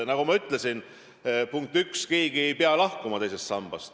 Nagu ma ütlesin, punkt üks: keegi ei pea lahkuma teisest sambast.